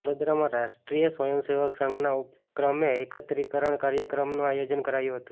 વડોદરામાં રાષ્ટ્રીય સ્વયં સેવક સંઘના ઉપક્રમે એકત્રીકરણ કાર્યક્રમનું આયોજન કરાયું હતું